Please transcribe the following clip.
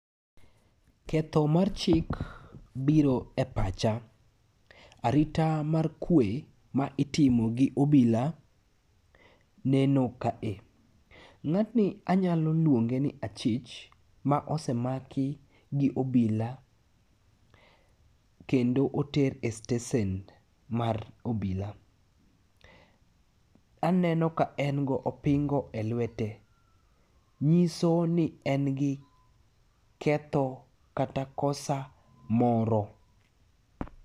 Ketho mar chik biro e pacha. Arita mar kwe ma itimo gi obila neno kae. Ng'atni anyalo luonge ni achich ma osemaki gi obila, kendo oter e stesen mar obila. Aneno ka en gi opingo e lwete. Nyiso ni en gi ketho kata kosa moro.